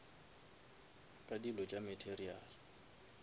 ka dilo tša material